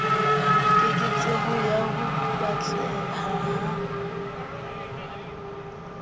keketseho ya ho batleha ha